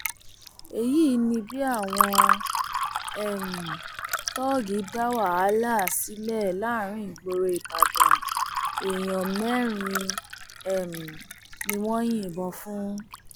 èyí ni bí àwọn um tóógi dá wàhálà sílẹ láàrin ìgboro ìbàdàn èèyàn mẹrin um ni wọn yìnbọn fún